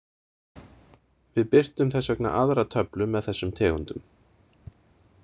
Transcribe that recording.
Við birtum þess vegna aðra töflu með þessum tegundum.